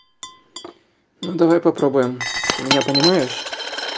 ну давай попробуем ты меня понимаешь